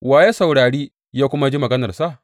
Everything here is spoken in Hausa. Wa ya saurari ya kuma ji maganarsa?